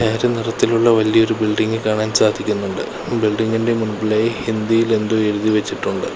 നിറത്തിലുള്ള വലിയൊരു ബിൽഡിംഗ് കാണാൻ സാധിക്കുന്നുണ്ട് ബിൽഡിംഗ് ഇന്റെ മുമ്പിലായി ഹിന്ദി യിൽ എന്തോ എഴുതി വച്ചിട്ടുണ്ട്.